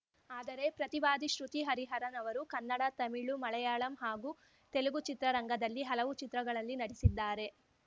ಆದರೆ ಪ್ರತಿವಾದಿ ಶ್ರುತಿ ಹರಿಹರನ್‌ ಅವರು ಕನ್ನಡ ತಮಿಳು ಮಳಯಾಳಂ ಹಾಗೂ ತೆಲುಗು ಚಿತ್ರ ರಂಗದಲ್ಲಿ ಹಲವು ಚಿತ್ರಗಳಲ್ಲಿ ನಟಿಸಿದ್ದಾರೆ